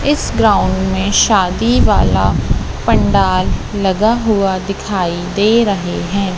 इस ग्राउंड में शादी वाला पंडाल लगा हुआ दिखाई दे रहे हैं।